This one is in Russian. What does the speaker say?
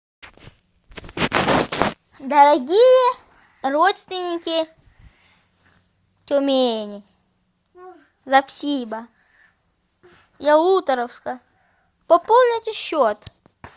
дорогие родственники тюмени запсиба ялуторовска пополните счет